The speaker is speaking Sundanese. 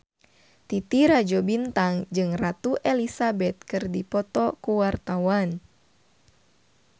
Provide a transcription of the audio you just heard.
Titi Rajo Bintang jeung Ratu Elizabeth keur dipoto ku wartawan